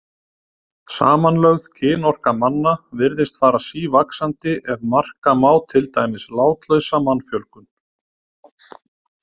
Samanlögð kynorka manna virðist fara sívaxandi ef marka má til dæmis látlausa mannfjölgun.